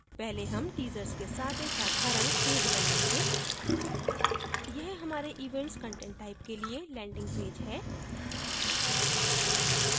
पहले हम teasers के साथ एक साधारण पेज बनायेंगे यह हमारे events content type के लिए landing पेज होगा